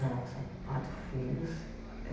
Não, são quatro filhos.